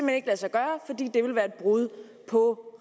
ikke lade sig gøre fordi det ville være et brud på